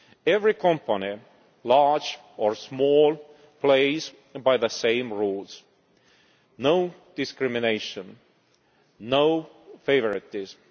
Every company, large or small, plays by the same rules no discrimination, no favouritism.